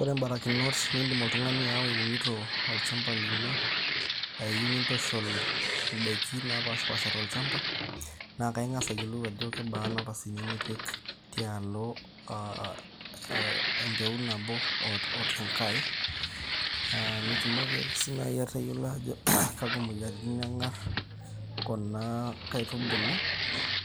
Ore imbarakinot niindim oltung'ani ayawa iunito olchamba lino, aa iyieu nintushul indaiki naapashipaasha tolchamaba, naa akaing'as ayiolou ajo kebaa napasini nipik tialo aa ee embeu nabo oo tenkae, nitumoki ake sii naaji ake atayiolo kakwa moyiaritin eng'arr kuna kaitubulu